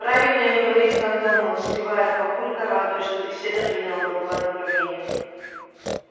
правильнее говорить кондомы встревает папулька радуясь что беседа приняла другое направление